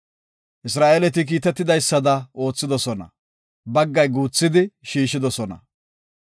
Isra7eeleti kiitetidaysada oothidosona; baggay darsidi, baggay guuthidi shiishidosona.